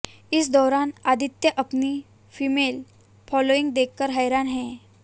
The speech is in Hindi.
इस दौरान आदित्य अपनी फीमेल फॉलोइंग देखकर हैरान हैं